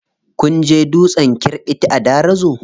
Kun je dutsen kirɓiti a Darazo?